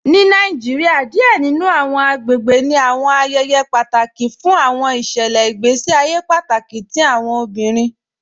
Ni Nàìjíríà, díẹ̀ nínu àwọn àgbègbè ní àwọn ayéyé pátákì fún àwọn ìṣẹlẹ̀ ìgbèsí àyè pátákì tí àwọn obìrín